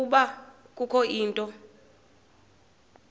ukuba kukho into